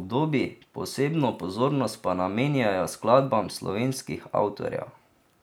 obdobij, posebno pozornost pa namenjajo skladbam slovenskih avtorjev.